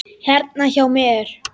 Hérna hjá mér.